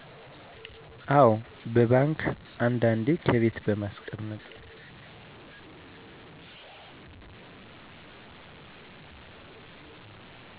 አዎ በባንክ አንዳንዴ ከቤት በማስቀመጥ